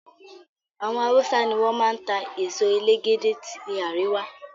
Àwọn hausa ni wọn máa ń ta èso elégédé tí àríwá.